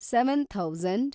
seven thousand